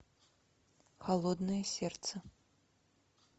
холодное сердце